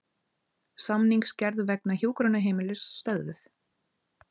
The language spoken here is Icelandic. Samningsgerð vegna hjúkrunarheimilis stöðvuð